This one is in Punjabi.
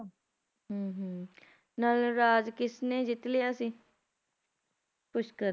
ਹਮ ਹੁੰ ਹੁੰ ਨਲ ਰਾਜ ਕਿਸਨੇ ਜਿੱਤ ਲਿਆ ਸੀ ਪੁਸ਼ਕਰ ਨੇ